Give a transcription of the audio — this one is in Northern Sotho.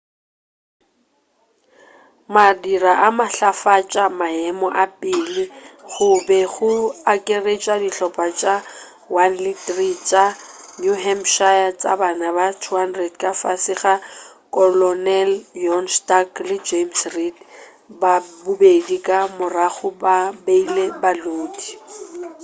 madira a matlafatša maemo a pele go be go akaretša dihlopa tša 1 le 3 tša new hampshire tša banna ba 200 ka fase ga kolonel john stark le james reed bobedi ka morago bo beile balodi